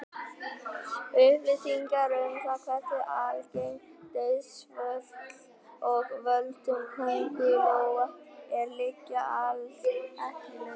Upplýsingar um það hversu algeng dauðsföll af völdum köngulóa eru liggja alls ekki á lausu.